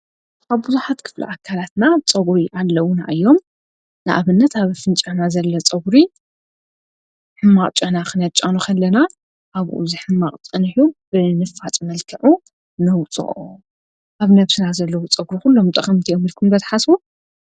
ኣብ ብዙሓት ክፍሉ ኣካላትና ፀጕሪ ኣለዉና እዮም፡፡ ንኣብነት ኣብ ኣፍንጫና ዘለ ጸጕሪ ሕማቕ ጨና ኽነጫኑ ከለና ኣብኡ ዝሕማቕ ፀኒሑ ብልፍፃፅ መልክዑ ነውፅኦ፡፡ ኣብ ነብስና ዘለዉ ፀጕሪ ዂሎም ጠቐምቲ እዮም ኢልኩም ዶ ትሓስቡ?